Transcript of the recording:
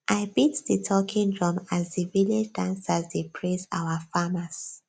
i beat di talking drum as di village dancers dey praise our farmers